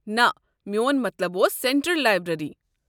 نہ میون مطلب اوس سٮ۪نٹرل لایبریٚری۔